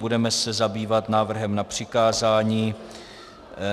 Budeme se zabývat návrhem na přikázání.